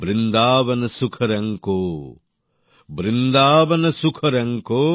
বৃন্দাবন সুখ রঙ কো বৃন্দাবন সুখ রঙ কো